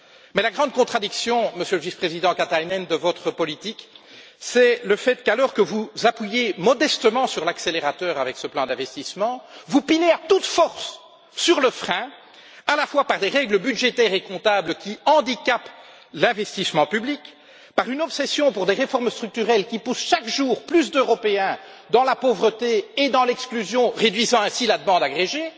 Mais la grande contradiction de votre politique, Monsieur le Vice président Katainen, c'est le fait qu'alors que vous appuyez modestement sur l'accélérateur avec ce plan d'investissement, vous pilez à toute force sur le frein, à la fois par l'application de règles budgétaires et comptables qui handicapent l'investissement public, par une obsession pour des réformes structurelles qui poussent chaque jour plus d'Européens dans la pauvreté et l'exclusion, réduisant ainsi la demande agrégée